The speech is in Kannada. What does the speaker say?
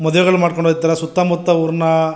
ಮದುವೆಗಳನ್ನು ಮಾಡ್ಕೊಂಡ್ ಹೊಯ್ತಾರೆ ಸುತ್ತ್ತ ಮುತ್ತ ಊರಿನ --